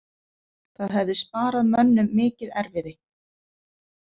Það hefði sparað mönnum mikið erfiði.